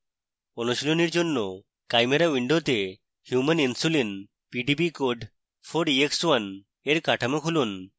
অনুশীলনীর জন্য chimera window human insulin pdb code 4ex1 for কাঠামো খুলুন